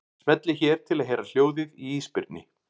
Smellið hér til að heyra hljóðið í ísbirni.